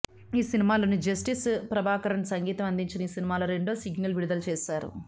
ఈ సినిమాలో జస్టిన్ ప్రభాకరన్ సంగీతం అందించిన ఈసినిమాలో రెండో సింగల్ను విడుదల చేశారు